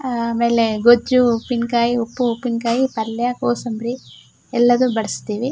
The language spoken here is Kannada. ಆಮೇಲೆ ಗೊಜ್ಜು ಉಪ್ಪಿನ್ಕಾಯಿ ಉಪ್ಪು ಉಪ್ಪಿನ್ಕಾಯಿ ಪಲ್ಯ ಕೋಸಂಬ್ರಿ ಎಲ್ಲಾದು ಬಡಸ್ತಿವಿ .